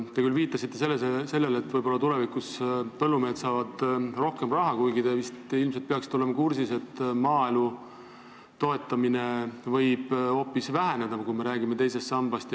Te küll viitasite, et võib-olla tulevikus põllumehed saavad rohkem raha, kuigi te vist peaksite olema kursis, et maaelu toetamine võib hoopis väheneda, kui me räägime teisest sambast.